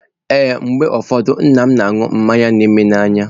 Ee, mgbe ụfọdụ nna m na-aṅụ mmanya na eme n'anya.